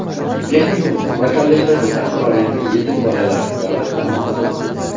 texnikum va kollejlarda tahsil olayotgan yetim bolalar davlat qaramog‘ida bo‘ladi.